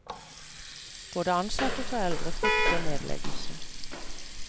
Både ansatte og foreldre frykter nedleggelse.